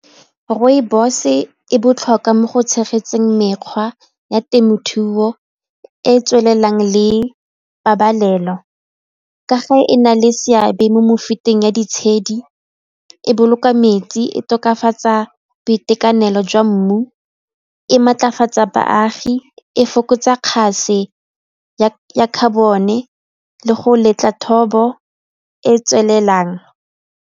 Rooibos-e e botlhokwa mo go tshegetseng mekgwa ya temothuo e e tswelelang le pabalelo, ka ge e na le seabe mo mefuteng ya ditshedi, e boloka metsi, e tokafatsa boitekanelo jwa mmu e maatlafatsa baagi, e fokotsa kgaso ya carbon-e le go letla thobo e e tswelelang.